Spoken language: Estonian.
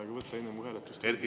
Erkki Keldo, palun!